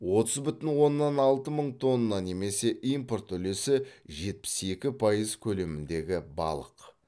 отыз бүтін оннан алты мың тонна немесе импорт үлесі жетпіс екі пайыз көлеміндегі балық